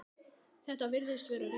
Þetta virðist vera rétt.